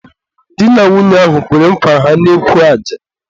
di na nwunye ahụ kwere nkwa ha n'ekwu aja.